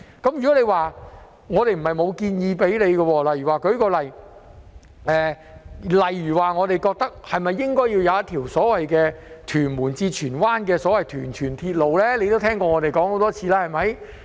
其實我們也曾向局長建議，例如應否興建一條由屯門至荃灣的所謂"屯荃鐵路"，他也聽過我們說了很多次吧。